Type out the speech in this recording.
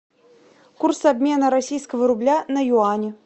курс обмена российского рубля на юани